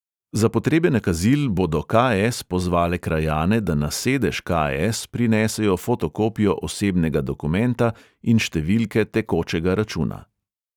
Za potrebe nakazil bodo ka|es pozvale krajane, da na sedež ka|es prinesejo fotokopijo osebnega dokumenta in številke tekočega računa.